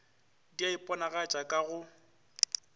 di a iponagatša ka go